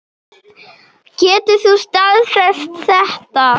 Getur þú staðfest þetta?